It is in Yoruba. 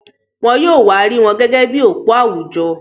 Wọ́n yóò wa rí wọn gẹ́gẹ́ bi òpó àwùjọ.